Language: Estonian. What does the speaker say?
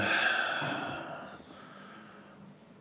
Kahju küll, et Euroopa praktikast me ei saanudki midagi teada.